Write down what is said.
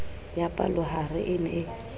ya palohare e ne e